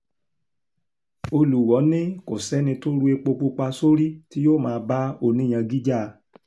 olùwọ́ọ́ ní kò sẹ́ni tó ru epo pupa sórí tí yóò máa bá oníyangangí jà